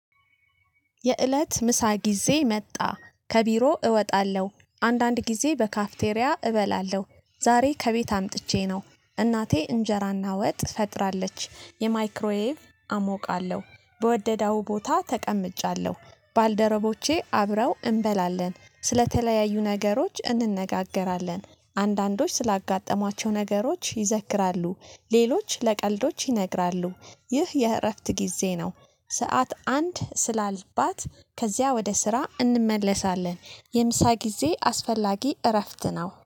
የእለት ምሳ ጊዜ መጣ ከቢሮ እወጣለሁ። አንዳንድ ጊዜ በካፍቴሪያ እበላለሁ። ዛሬ ከቤት አምጥቼ ነው እናቴ እንጀራና ወጥ ፈጥራለች የማይክሮዌቭ አሞቃለሁ በወደዳው ቦታ ተቀምጫለሁ ባልደረቦቼ አብረው እንበላለን፣ ስለተለያዩ ነገሮች እነጋገራለን፣ አንዳንዶች ስላጋጠማቸው ነገሮች ይዘክራሉ፣ ሌሎች ለቀልዶች ይነግራሉ፣ ይህ የእረፍት ጊዜ ነው። ሰዓት አንድ ስላልባት ከዚያ ወደ ስራ እንመለሳለን። የምሳ ጊዜ አስፈላጊ እረፍት ነው።